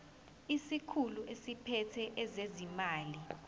isikhulu esiphethe ezezimali